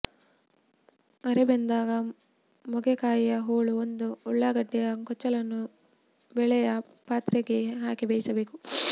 ಅರೆಬೆಂದಾಗ ಮೊಗೆಕಾಯಿಯ ಹೋಳು ಒಂದು ಉಳ್ಳಾಗಡ್ಡೆಯ ಕೊಚ್ಚಲನ್ನ ಬೇಳೆಯ ಪಾತ್ರೆಗೆ ಹಾಕಿ ಬೇಯಿಸಬೇಕು